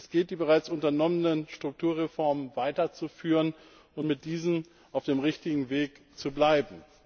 Es gilt, die bereits unternommenen Strukturreformen weiterzuführen und mit diesen auf dem richtigen Weg zu bleiben.